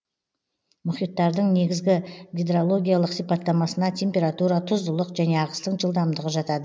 мұхиттардың негізгі гидрологиялық сипаттамасына температура тұздылық және ағыстың жылдамдығы жатады